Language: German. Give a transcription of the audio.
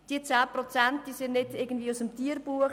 Die 10 Prozent sind nicht aus dem Tierbuch.